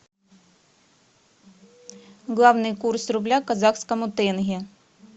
главный курс рубля к казахскому тенге